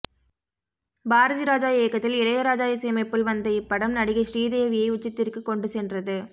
பாரதி ராஜா இயக்கத்தில் இளையராஜா இசையமைப்பில் வந்த இப்படம் நடிகை ஸ்ரீதேவியை உச்சத்திற்கு கொண்டு சென்றது